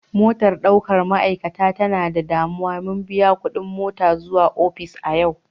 Motan daukan ma'aikata ta na da danuwa, mun biya kudin mota zuwa ofis a yau.